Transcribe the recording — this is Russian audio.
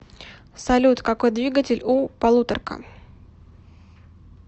салют какой двигатель у полуторка